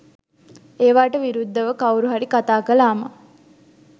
ඒවාට විරුද්ධව කවුරු හරි කතා කළාම